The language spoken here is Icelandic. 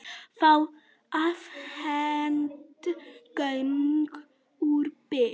Fá afhent gögn úr Byr